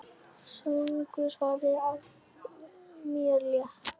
Þungu fargi af mér létt.